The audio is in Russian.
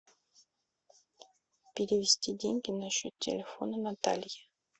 перевести деньги на счет телефона натальи